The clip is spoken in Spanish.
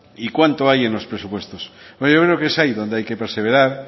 y cuánto hay en los presupuestos porque yo creo que es ahí donde hay que perseverar